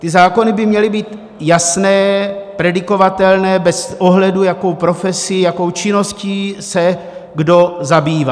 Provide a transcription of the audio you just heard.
Ty zákony by měly být jasné, predikovatelné, bez ohledu, jakou profesí, jakou činností se kdo zabývá.